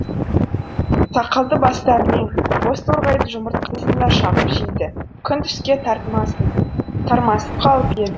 сақалды бастарымен боз торғайдың жұмыртқасын да шағып жейді күн түске тармасып қалып еді